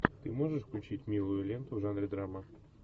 ты можешь включить милую ленту в жанре драма